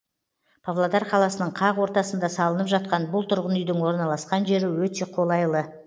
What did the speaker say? павлодар қаласының қақ ортасында салынып жатқан бұл тұрғын үйдің орналасқан жері өте қолайлы